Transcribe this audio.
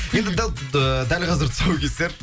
енді ыыы дәл қазір тұсаукесер